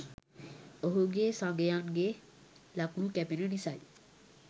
ඔහුගේ සගයන් ගේ ලකුණු කැපෙන නිසයි